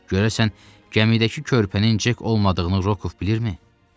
Görəsən gəmidəki körpənin Cek olmadığını Rokov bilirmi?